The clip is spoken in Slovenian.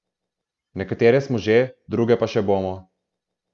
Nekatere smo že, druge pa še bomo.